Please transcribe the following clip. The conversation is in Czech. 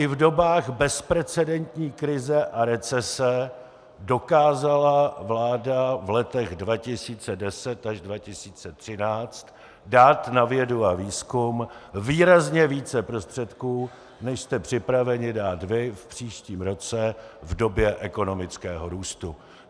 I v dobách bezprecedentní krize a recese dokázala vláda v letech 2010 až 2013 dát na vědu a výzkum výrazně více prostředků, než jste připraveni dát vy v příštím roce v době ekonomického růstu.